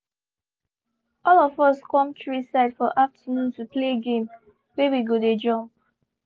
all of us come tree side for afternoon to play game wey we go dey jump